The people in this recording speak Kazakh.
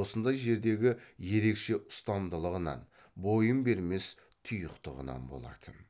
осындай жердегі ерекше ұстамдылығынан бойын бермес тұйықтығынан болатын